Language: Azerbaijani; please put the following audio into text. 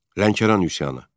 Lənkəran üsyanı.